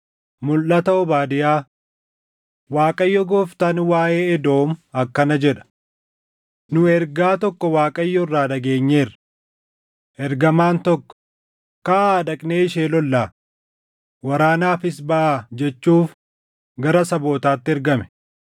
Mulʼata Obaadiyaa. 1‑4 kwf – Erm 49:14‑16 5‑6 kwf – Erm 49:9‑10 Waaqayyo Gooftaan waaʼee Edoom akkana jedha. Nu ergaa tokko Waaqayyo irraa dhageenyeerra: Ergamaan tokko, “Kaʼaa dhaqnee ishee lollaa; waraanaafis baʼaa” jechuuf gara sabootaatti ergame.